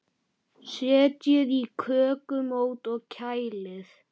Setjið í kökumót og kælið.